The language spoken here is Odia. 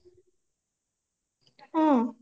ହଁ